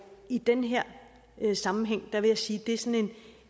i den her sammenhæng vil jeg sige at det er sådan